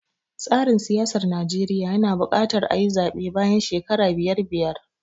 Tsarin siyasar Najeriya yana buƙatar ayi zaɓe bayan shekara biyar biyar.